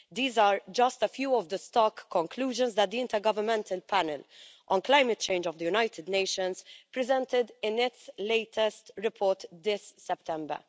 These are just a few of the stark conclusions that the Intergovernmental Panel on Climate Change of the United Nations presented in its latest report this September.